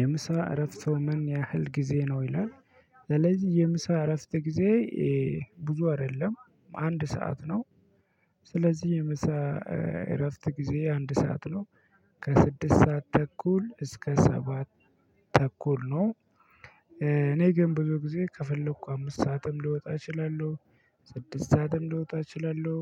የምሳ እረፍቱ ምን? ያህል ጊዜ ነው ይላል ስለዚህ የምሳ እረፍት ጊዜ ብዙ አይደለም አንድ ሰዓት ነው። ስለዚህ የምሳ እረፍት ጊዜ አንድ ሰዓት ነው። ከስድስት ሰዓት ተኩል እስከ ሰባት ተኩል ነው። እኔ ግን ብዙ ጊዜ ከፈለኩ አምስት ሰዓትም ልወጣ እችላለሁ። ስድስት ሰዓትም ልወጣ እችላለሁ።